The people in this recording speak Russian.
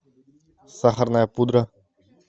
сахарная пудра